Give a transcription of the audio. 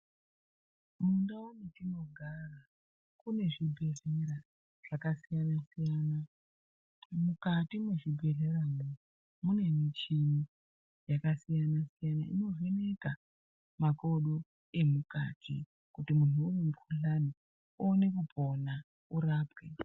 Mundau dzetinogara kune zvibhehleya zvakasiyanasiyan, mukati mwezvibhehleyamwo mune michini yakasiyana-siyana inovheneka makodo emukati kuti muntu une mukhuhlani oone kupona orapwe.